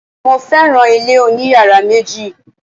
Mo féràn ilé oní yàrá méjì.